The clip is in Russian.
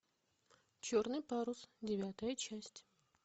черный парус девятая часть